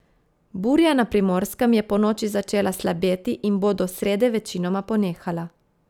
Burja na Primorskem je ponoči začela slabeti in bo do srede večinoma ponehala.